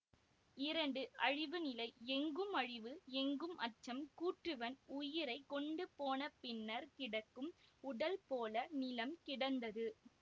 இரண்டு அழிவுநிலை எங்கும் அழிவு எங்கும் அச்சம் கூற்றுவன் உயிரை கொண்டுபோன பின்னர் கிடக்கும் உடல் போல நிலம் கிடந்தது